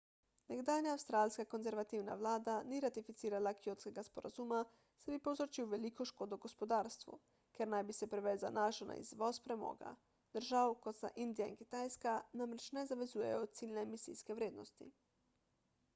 nekdanja avstralska konservativna vlada ni ratificirala kjotskega sporazuma saj bi povzročil veliko škodo gospodarstvu ker naj bi se preveč zanašal na izvoz premoga držav kot sta indija in kitajska namreč ne zavezujejo ciljne emisijske vrednosti